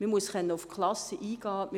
Man muss auf die Klassen eingehen können.